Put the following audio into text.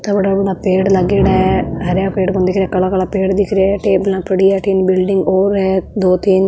थोड़ा घणा पेड़ लागेड़ा है हरा हरा पेड़ दिख रही है काला काला पेड़ दिख रहे है टेबला पड़ी है अठिन बिल्ड़िंग और है दो तीन।